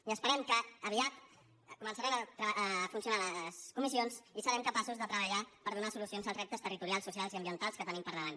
i esperem que aviat començaran a funcionar les comissions i serem capaços de treballar per donar solucions als reptes territorials socials i ambientals que tenim al davant